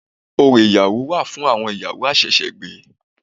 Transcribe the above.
Orò ìyàwó wà fún àwon ìyàwó àsẹ̀sẹ̀gbé